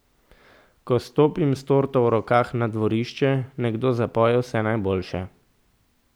Ko stopim s torto v rokah na dvorišče, nekdo zapoje Vse najboljše.